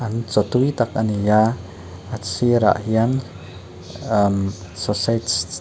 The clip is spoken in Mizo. chaw tui tak a ni a a sir ah hian amm sausage te--